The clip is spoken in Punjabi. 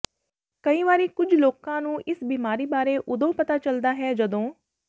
ਕਈ ਵਾਰੀ ਕੁੱਝ ਲੋਕਾਂ ਨੂੰ ਇਸ ਬਿਮਾਰੀ ਬਾਰੇ ਓਦੋਂ ਪਤਾ ਚਲਦਾ ਹੈ ਜਦੋਂ